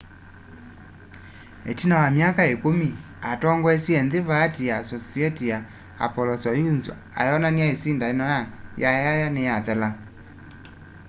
itina wa myaka ikumi atongoesye vaati ya soviet ya apollo-soyuz ayonany'a isindano ya yayaya niyathela